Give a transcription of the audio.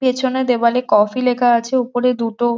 পেছনে দেয়ালে কফি লেখা আছে উপরে দুটো--